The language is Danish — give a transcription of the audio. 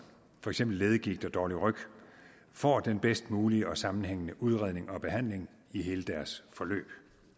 for eksempel leddegigt og dårlig ryg får den bedst mulige og sammenhængende udredning og behandling i hele deres forløb